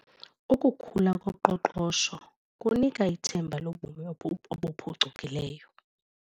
Ukukhula koqoqosho kunika ithemba lobomi obuphucukileyo.